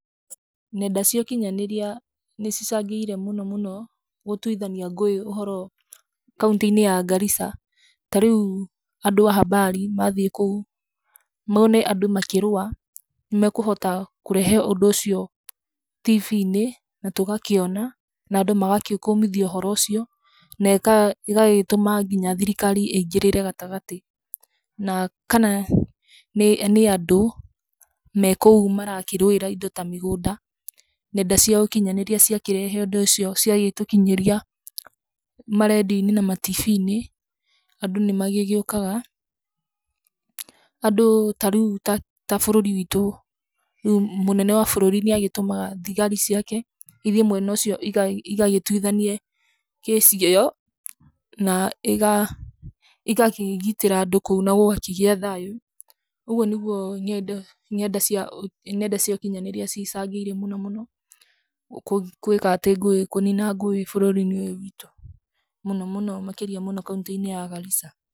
Nenda cia ũkinyanĩria nĩ cicangĩre mũno, mũno, gũtuithania ngũĩ ũhoro, kauntĩ - inĩ ya Garissa, tarĩu andũ a habari mathiĩ kũu, mone andũ makĩrũwa, nĩ mekũhota lkũrehe ũndũ ũcio tivi - inĩ na tũgakĩona, na andũ magagĩkũmithia ũhoro ũcio, na ĩka ĩgagĩtũma ngina thirikari ĩngĩrĩre gatagatĩ, na kana nĩ andũ mekũu marakĩrũira indo ta mĩgũnda, nenda cia ũkinyanĩria cia gĩkĩrehe ũndũ ũcio, cia gĩtũkinyĩria, ma radio - inĩ na ma tivi - inĩ, andũ nĩ magĩgĩũkaga, andũ tarĩu ta bũrũri witũ, rĩũ, mũnene wa bũrũri nĩagĩtũmaga thigari ciake, ithiĩ mwena ũcio igagĩ igagĩ twithanie case ĩyo, na ĩga ĩgakĩgitĩra andũ kou na gũgakĩgĩa thayũ, ũguo nĩ guo ngendo, ngenda cia, nenda cia ukinyanĩria icangĩre mũno, mũno, kwĩka atĩ ngũĩ, kũnina ngũĩ bũrũri - inĩ ũyo wĩtũ, mũno, mũno, makĩria mũno, kaunti-inĩ ya Garissa.